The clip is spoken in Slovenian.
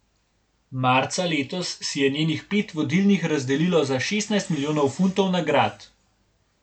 Marca letos si je njenih pet vodilnih razdelilo za šestnajst milijonov funtov nagrad.